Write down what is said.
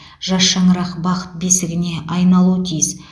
жас шаңырақ бақыт бесігіне айналуы тиіс